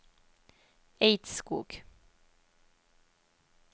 Eidskog